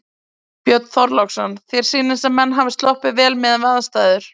Björn Þorláksson: Þér sýnist sem menn hafi sloppið vel miðað við aðstæður?